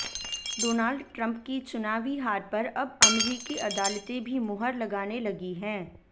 Donald Trump की चुनावी हार पर अब अमरीकी अदालतें भी मुहर लगाने लगी हैं